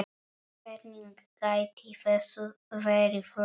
Hvernig gæti þessu verið lokið?